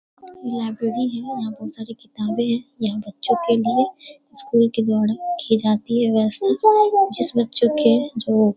library है और यहाँ बहुत सारे किताबें हैं यहाँ बच्चों के लिए स्कूल के द्वारा की जाती है व्यवस्था जिस बच्चों के जो --